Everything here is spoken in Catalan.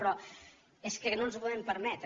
però és que no ens ho podem permetre